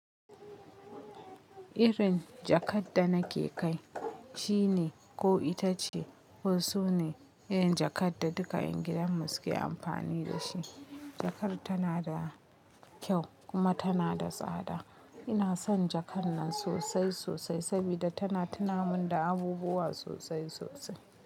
Irin jakar da nake kai, shi ne ko ita ce, wasu ne, yana jakar da duka ƴan gidan mu suke amfani da shi. Jakar tana da kyau kuma tana da tsada. Ina son jakar nan sosai sosai saboda tana tuna mun da abubuwa sosai sosai.